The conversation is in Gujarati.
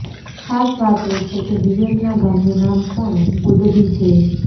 ખાસ વાત એ છે કે વિવેકના ગામનું નામ પણ ગુડદી છે